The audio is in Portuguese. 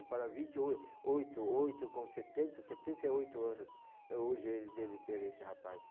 para vinte, oi oito, oito com setenta, setenta e oito anos hoje ele deve ter esse rapaz.